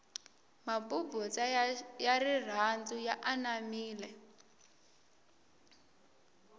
mabubutsa ya rirhandu ya anamile